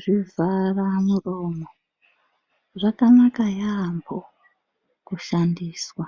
Zvivhara muromo zvakanaka yambho kushandiswa